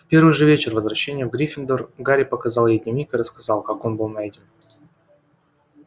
в первый же вечер возвращения в гриффиндор гарри показал ей дневник и рассказал как он был найден